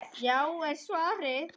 Já! er svarið.